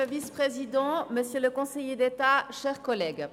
Für die SVPFraktion spricht Grossrätin Graber.